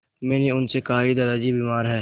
मैंने उनसे कहा कि दादाजी बीमार हैं